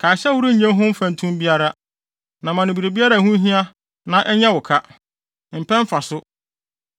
Kae sɛ worennye ho mfɛntom biara; na ma no biribiara a ɛho hia no na ɛnyɛ wo ka. Mpɛ mfaso!